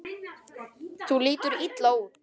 Þú lítur illa út